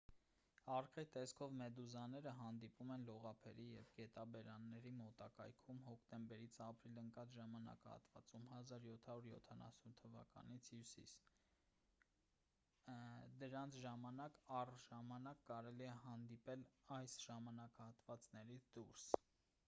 արկղի տեսքով մեդուզաները հանդիպում են լողափերի և գետաբերանների մոտակայքում հոկտեմբերից ապրիլ ընկած ժամանակահատվածում 1770-ից հյուսիս դրանց ժամանակ առ ժամանակ կարելի է հանդիպել այս ժամանակահատվածներից դուրս